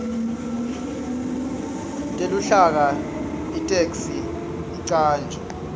teluhlaka itheksthi icanjwe